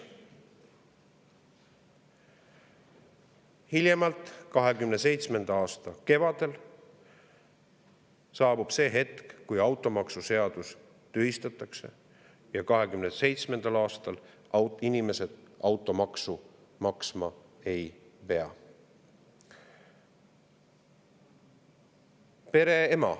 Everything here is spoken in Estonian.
Hiljemalt 2027. aasta kevadel saabub see hetk, kui automaksuseadus tühistatakse, ja 2027. aastal inimesed automaksu maksma ei pea.